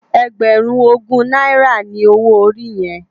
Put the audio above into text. Ègbèrún ógún nàirá ni ôwó óri yèn?